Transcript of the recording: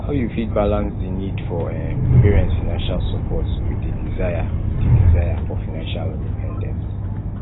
how you fit balance di need for um parents financial support with di desire di desire for financial independence